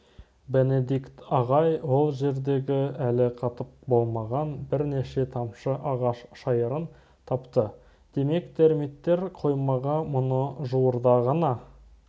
бенедикт ағай ол жердегі әлі қатып болмаған бірнеше тамшы ағаш шайырын тапты демек термиттер қоймаға мұны жуырда ғана